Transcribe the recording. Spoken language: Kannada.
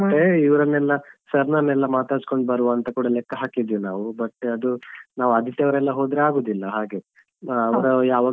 ಮತ್ತೆ ಇವ್ರನೆಲ್ಲಾ sir ನವರನ್ನು ಮಾತಾಡಿಸ್ಕೊಂಡ್ ಬರುವಂತ ಕೂಡ ಲೆಕ್ಕ ಹಾಕಿದ್ವಿ ನಾವು but ಅದು ನಾವು ಆದಿತ್ಯವಾರ ಎಲ್ಲ ಹೋದ್ರೆ ಆಗುದಿಲ್ಲಾ ಹಾಗೆ ಅವರು ಯಾವಾಗ.